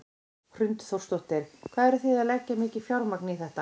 Hrund Þórsdóttir: Hvað eru þið að leggja mikið fjármagn í þetta?